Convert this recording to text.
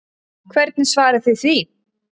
Hvernig svarið þið því?